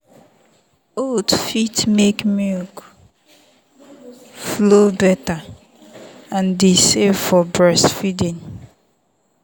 oats fit make milk flow better and e safe for breastfeeding.